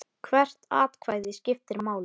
Hvert atkvæði skiptir máli.